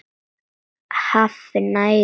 Hafi næga orku.